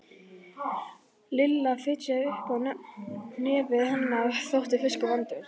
Lilla fitjaði upp á nefið, henni þótti fiskur vondur.